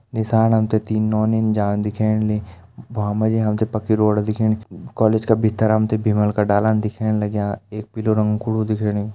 नीसाण हम तें तीन नौनी जाण दिखेण लीं भ्वां मा जी हम ते पक्की रोड दिखेणी कॉलेज का भीतर हम तें भीमल का डाला दिखेण लग्यां एक पीलू रंग कु कुड़ु दिखेणु।